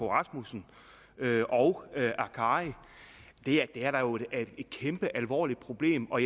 rasmussen og akkari det er da et kæmpe alvorligt problem og